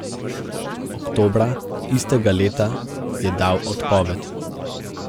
Oktobra istega leta je dal odpoved.